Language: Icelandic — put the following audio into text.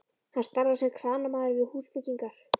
Hann starfar sem kranamaður við húsbyggingar.